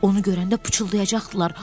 Onu görəndə pıçıldayacaqdılar.